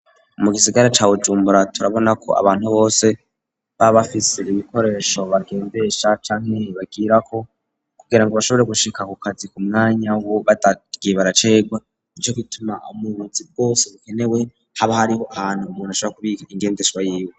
Mu gisagara ca bujumbura turabona ko abantu bose baba bafise ibikoresho bagendesha canke bagirako kugira ngo bashobore gushika ku kazi ku mwanya wo batagiye baracegwa ,nico gituma mubuzi bwose bukenewe haba hariho ahantu umuntu ashobora kubika ingendeshwa yiwe.